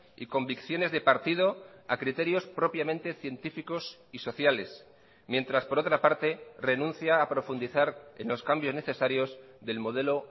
y convicciones de partido a criterios propiamente científicos y sociales mientras por otra parte renuncia a profundizar en los cambios necesarios del modelo